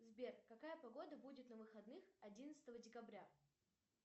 сбер какая погода будет на выходных одиннадцатого декабря